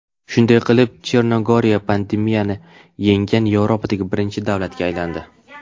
Shunday qilib, Chernogoriya pandemiyani yenggan Yevropadagi birinchi davlatga aylandi.